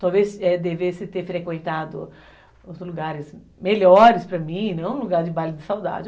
Talvez devesse ter frequentado os lugares melhores para mim, não um lugar de baile de saudade.